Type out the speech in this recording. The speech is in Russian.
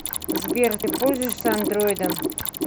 сбер ты пользуешься андроидом